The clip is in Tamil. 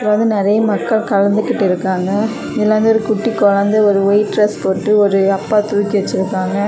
அங்க நறைய மக்கள் கலந்துக்குட்டு இருக்காங்க இதுல வந்து ஒரு குட்டி குழந்தை வைட் டிரஸ் போட்டு ஒரு அப்பா தூக்கி வச்சிருக்காங்க.